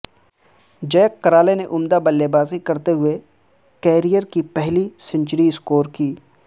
زیک Crawley نے عمدہ بلے بازی کرتے ہوئے کیریئر کی پہلی سنچری سکور کی